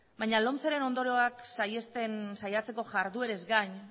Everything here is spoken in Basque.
baina lomceren ondorioak saihesten saiatzeko jarduerez gain